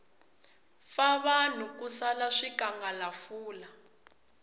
fa vanhu ku sala swikangalafula